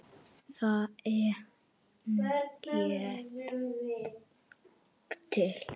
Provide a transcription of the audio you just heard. Það er hægt.